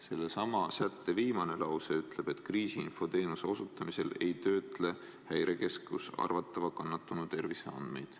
Sellesama sätte viimane lause ütleb, et kriisiinfo teenuse osutamisel ei töötle Häirekeskus arvatava kannatanu terviseandmeid.